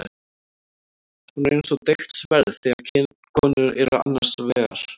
Hún er eins og deigt sverð þegar konur eru annars vegar.